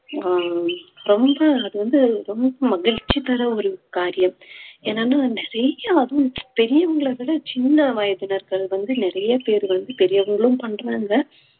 அஹ் ரொம்ப அது வந்து ரொம்ப மகிழ்ச்சி தர்ற ஒரு காரியம் என்னனா வீட்ல அதுவும் பெரியவங்களை விட சின்ன வயதினர்கள் வந்து நிறைய பேர் வந்து பெரியவர்களும் பண்றாங்க